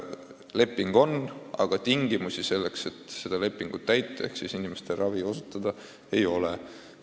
Leping on, aga tingimusi selleks, et lepingut täita ehk inimesi ravida, ei ole.